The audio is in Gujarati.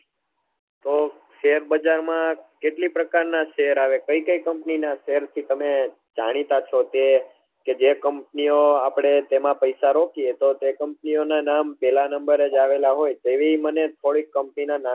તો share બજાર માં કેટલી પ્રકાર ના share આવે કઈ કઈ company ના share થી તમે જાણીતા છો તે કે જે company ઓ આપડે તેમાં પૈસા રોકીએ તો કે company ઓ ના નામે પેલા number એ આવેલા હોય તેવી મને થોડી company ના નામ